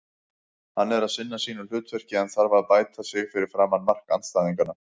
Hann er að sinna sínu hlutverki en þarf að bæta sig fyrir framan mark andstæðinganna.